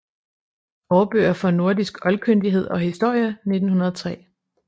Aarbøger for nordisk Oldkyndighed og Historie 1903